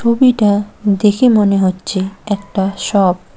হবিটা দেখে মনে হচ্ছে একটা শপ ।